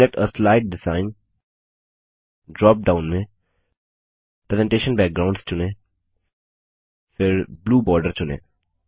select आ slide design drop down में presentation backgrounds चुनें फिर ब्लू बॉर्डर चुनें